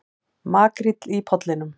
Makríll í Pollinum